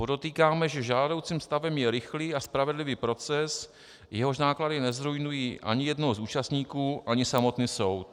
Podotýkáme, že žádoucím stavem je rychlý a spravedlivý proces, jehož náklady nezruinují ani jednoho z účastníků ani samotný soud.